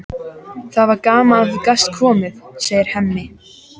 Það var gaman að þú gast komið, segir Hemmi.